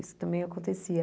Isso também acontecia.